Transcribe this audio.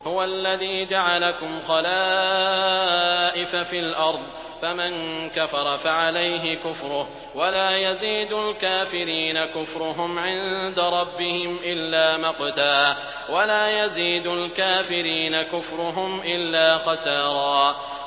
هُوَ الَّذِي جَعَلَكُمْ خَلَائِفَ فِي الْأَرْضِ ۚ فَمَن كَفَرَ فَعَلَيْهِ كُفْرُهُ ۖ وَلَا يَزِيدُ الْكَافِرِينَ كُفْرُهُمْ عِندَ رَبِّهِمْ إِلَّا مَقْتًا ۖ وَلَا يَزِيدُ الْكَافِرِينَ كُفْرُهُمْ إِلَّا خَسَارًا